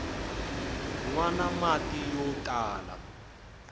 nwana mati yo tala